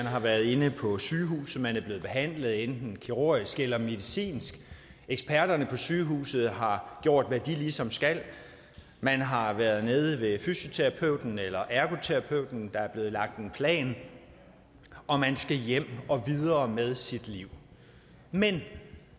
har været inde på sygehuset hvor man er blevet behandlet enten kirurgisk eller medicinsk eksperterne på sygehuset har gjort hvad de ligesom skal man har været nede ved fysioterapeuten eller ergoterapeuten og der er blevet lagt en plan og man skal hjem og videre med sit liv men